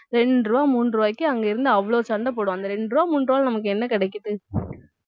இரண்டு ரூபாய் மூன்று ரூபாய்க்கு அங்கே இருந்து அவ்வளவு சண்டை போடும் அந்த ரெண்டு ரூபாய் மூன்று ரூபாய் நமக்கு என்ன கிடைக்குது